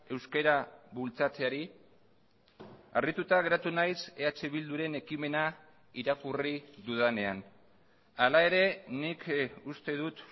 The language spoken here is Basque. euskara bultzatzeari harrituta geratu naiz eh bilduren ekimena irakurri dudanean hala ere nik uste dut